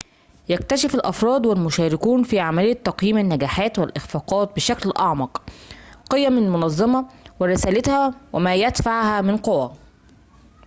يكتشف الأفراد والمشاركون في عملية تقييم النجاحات والإخفاقات بشكل أعمق قيم المنظمة ورسالتها و ما يدفعها من قوى